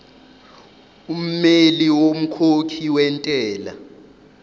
ummeli womkhokhi wentela